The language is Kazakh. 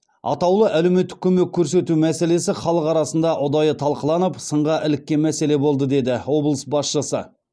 атаулы әлеуметтік көмек көрсету мәселесі халық арасында ұдайы талқыланып сынға іліккен мәселе болды деді облыс басшысы